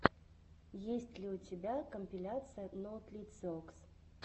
есть ли у тебя компиляция ноутлициокс